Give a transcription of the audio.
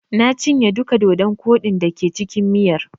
Na cinye duka dodon koɗi da ke cikin miyar.